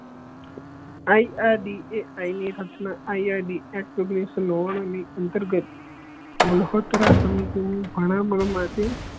I R D A I ની સ્થાપના I R D S ની અંતર્ગત સમિતિ ની